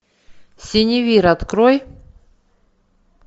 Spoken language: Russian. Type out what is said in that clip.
синевир открой